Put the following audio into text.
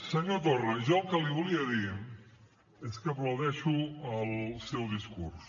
senyor torra jo el que li volia dir és que aplaudeixo el seu discurs